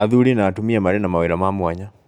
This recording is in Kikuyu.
Athuri na atumia marĩ na mawĩra ma mwanya.